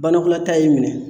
Banakɔlata y'i minɛ.